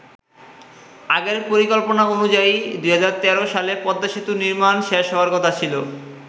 আগের পরিকল্পনা অনুযায়ী ২০১৩ সালে পদ্মা সেতুর নির্মাণ কাজ শেষ হওয়ার কথা ছিল।